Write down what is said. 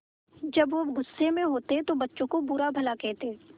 जब वह गुस्से में होते तो बच्चों को बुरा भला कहते